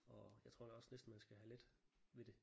Og jeg tror da også næsten man skal have let ved det